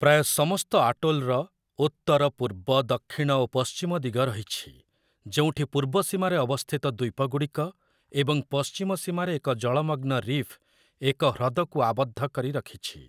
ପ୍ରାୟ ସମସ୍ତ ଆଟୋଲ୍‌‌ର ଉତ୍ତର, ପୂର୍ବ, ଦକ୍ଷିଣ ଓ ପଶ୍ଚିମ ଦିଗ ରହିଛି, ଯେଉଁଠି ପୂର୍ବ ସୀମାରେ ଅବସ୍ଥିତ ଦ୍ଵୀପଗୁଡ଼ିକ ଏବଂ ପଶ୍ଚିମ ସୀମାରେ ଏକ ଜଳମଗ୍ନ ରିଫ୍ ଏକ ହ୍ରଦକୁ ଆବଦ୍ଧ କରି ରଖିଛି ।